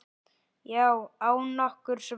Já, án nokkurs vafa.